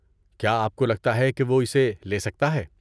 کیا آپ کو لگتا ہے کہ وہ اسے لے سکتا ہے؟